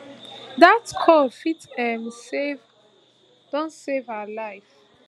dat call fit um don save her life